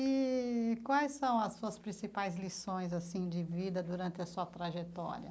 E quais são as suas principais lições assim de vida durante a sua trajetória?